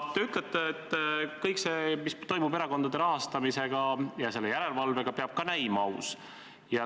Te ütlesite, et kõik see, mis toimub erakondade rahastamise ja selle järelevalvega, peab ka näima aus.